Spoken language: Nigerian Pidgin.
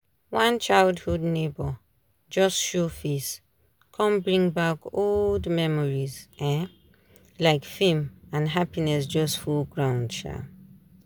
one childhood neighbour just show face come bring back old memories um like film and happinss just full ground um